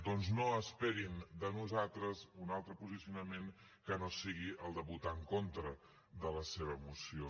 doncs no esperin de nosaltres un altre posicionament que no sigui el de votar en contra de la seva moció